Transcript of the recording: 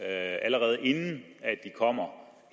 allerede inden de kommer